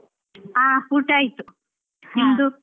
ಆ ಊಟ ಆಯ್ತು. ನಿಮ್ದು?